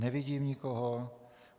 Nevidím nikoho.